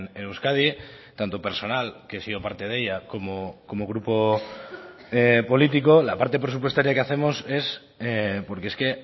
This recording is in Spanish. en euskadi tanto personal que he sido parte de ella como grupo político la parte presupuestaria que hacemos es porque es que